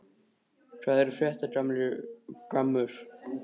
Hvað er að frétta, gamli gammur?